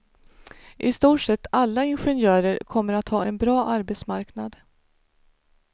I stort sett alla ingenjörer kommer att ha en bra arbetsmarknad.